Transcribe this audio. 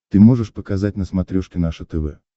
ты можешь показать на смотрешке наше тв